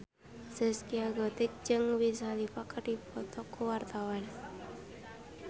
Zaskia Gotik jeung Wiz Khalifa keur dipoto ku wartawan